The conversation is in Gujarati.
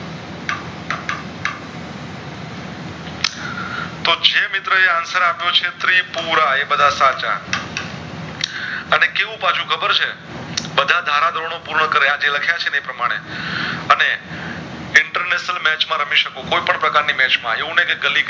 તે મિત્ર એ answer આપિયો છે પુરા એ બધા સાચા અને કેવું પાછું ખબર છે બધા ધારા ધોરણો પૂર્ણ કારિયા ને લખીયા છે ને એ પ્રમાણે અને International match માં રમી સાખો કોઈ પણ પ્રકાર ની match માં એવું નય કે ગલી કે